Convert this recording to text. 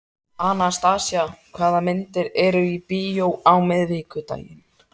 Anastasía, hvaða myndir eru í bíó á miðvikudaginn?